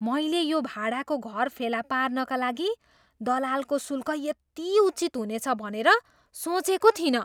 मैले यो भाडाको घर फेला पार्नका लागि दलालको शुल्क यति उचित हुनेछ भनेर सोचेको थिइनँ!